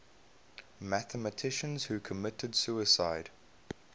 mathematicians who committed suicide